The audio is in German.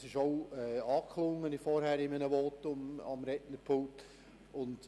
das klang vorhin in einem Votum am Rednerpult auch an.